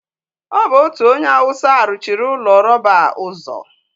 ọ bụ otu onye awụsa ruchiri ụlọ rọba a ụzọ.